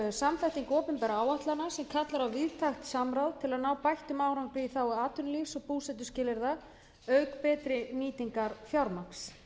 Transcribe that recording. samsetning opinberra áætlana sem kallar á víðtækt samráð til að ná bættum árangri í þágu atvinnulífs og búsetuskilyrða auk betri nýtingar fjármagns